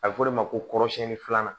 A bɛ f'o de ma ko kɔrɔsiyɛnni filanan